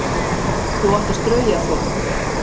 Þú átt að strauja þvott.